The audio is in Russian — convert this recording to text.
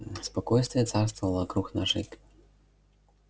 спокойствие царствовало вокруг нашей к